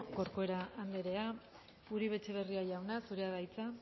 corcuera andrea uribe etxebarria jauna zurea da hitza